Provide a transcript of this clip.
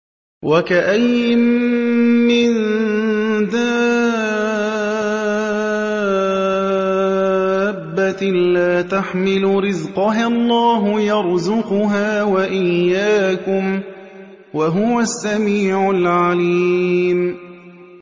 وَكَأَيِّن مِّن دَابَّةٍ لَّا تَحْمِلُ رِزْقَهَا اللَّهُ يَرْزُقُهَا وَإِيَّاكُمْ ۚ وَهُوَ السَّمِيعُ الْعَلِيمُ